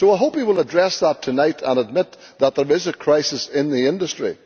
So I hope he will address that tonight and admit that there is a crisis in the industry.